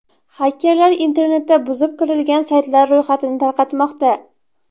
Xakerlar internetda buzib kirilgan saytlar ro‘yxatini tarqatmoqda.